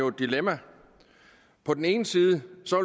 et dilemma på den ene side